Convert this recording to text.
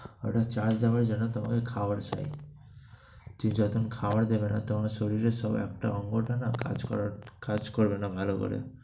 ওটা charge দেওয়ার জন্য তোমাকে খাবার চাই। ঠিক যখন খাবার দিবে না, তেমনি শরীরের সবটা অঙ্গটা না কাজ করা~ কাজ করবে ভালো করে।